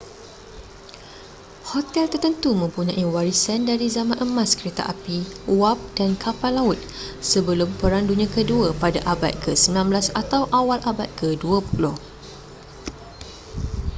hotel tertentu mempunyai warisan dari zaman emas kereta api wap dan kapal laut sebelum perang dunia kedua pada abad ke-19 atau awal abad ke-20